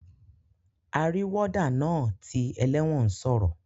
Arí warder naa ti eléwòn sòrò